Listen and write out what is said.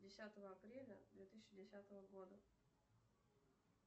десятого апреля две тысячи десятого года